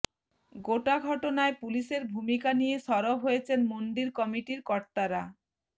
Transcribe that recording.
গোটা ঘটনায় পুলিশের ভূমিকা নিয়ে সরব হয়েছেন মন্দির কমিটির কর্তারা